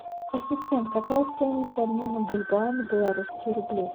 ассистент какая стоимость обмена бальбоа на белорусские рубли